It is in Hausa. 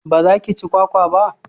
ba za ki ci kwakwa ba?